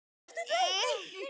hvílíkt orð mig dynur yfir!